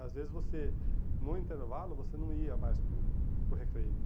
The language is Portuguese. Às vezes você, no intervalo, você não ia mais para o para o recreio.